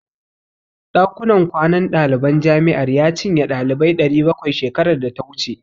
Ɗakunan kwanan daliban jami'ar ya cinye ɗalibai 700 shekarar data wuce.